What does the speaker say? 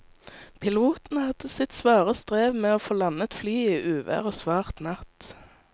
Piloten hadde sitt svare strev med å få landet flyet i uvær og svart natt.